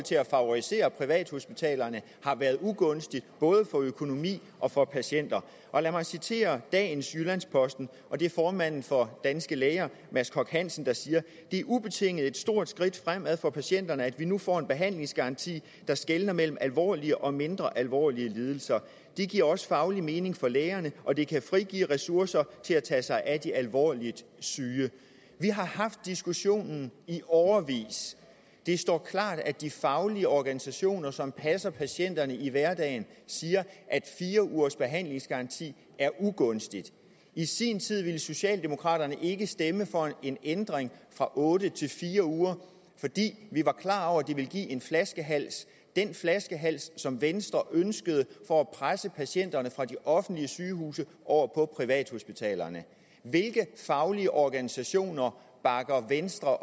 til at favorisere privathospitalerne har været ugunstigt både for økonomi og for patienter lad mig citere dagens jyllands posten og det er formanden for danske læger mads koch hansen der siger det er ubetinget et stort skridt fremad for patienterne at vi nu får en behandlingsgaranti der skelner mellem alvorlige og mindre alvorlige lidelser det giver også faglig mening for læger og det kan frigive ressourcer til at tage sig af de alvorligt syge vi har haft diskussionen i årevis det står klart at de faglige organisationer som passer patienterne i hverdagen siger at fire ugers behandlingsgaranti er ugunstig i sin tid ville socialdemokraterne ikke stemme for en ændring fra otte til fire uger fordi vi var klar over at det ville give en flaskehals den flaskehals som venstre ønskede for at presse patienterne fra de offentlige sygehuse over på privathospitalerne hvilke faglige organisationer bakker venstre